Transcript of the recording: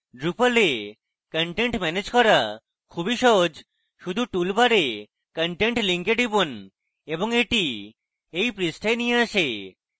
drupal এ content manage করা খুবই সহজ শুধু toolbar content link টিপুন এবং এটি এই পৃষ্ঠায় নিয়ে আসে